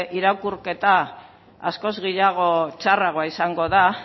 irakurketa askoz gehiago edo txarragoa izango da